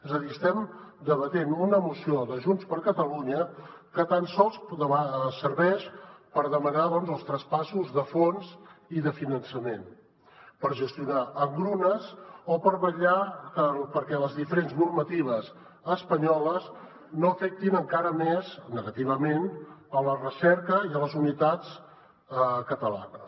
és a dir estem debatent una moció de junts per catalunya que tan sols serveix per demanar els traspassos de fons i de finançament per gestionar engrunes o per vetllar perquè les diferents normatives espanyoles no afectin encara més negativament la recerca i les universitats catalanes